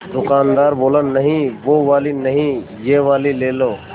दुकानदार बोला नहीं वो वाली नहीं ये वाली ले लो